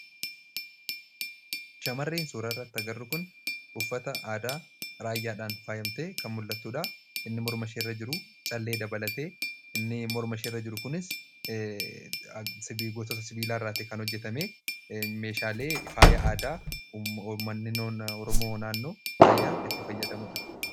Shamarreen suura irrati agarru kun uuffata aadaa raayyaadhaan faayamtee kan mul'attuudha. inni morma isheerra jiru callee dabalatee inni mormasheerra jiru kunis sibiigotota sibiilaa irraati kan hojjetame meeshaalee faayyaa aadaa uumanni oromoo naannoo raayyaa itti fayyadamuudha.